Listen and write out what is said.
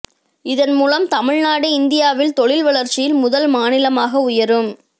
இதன் மூலம் தமிழ்நாடு இந்தியாவில் தொழில் வளர்ச்சியில் முதல் மாநிலமாக உயரும்